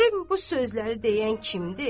Görüm bu sözləri deyən kimdir?